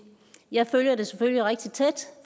jeg følger det selvfølgelig rigtig tæt